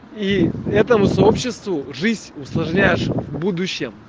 и этому сообществу жизнь усложняешь в будущем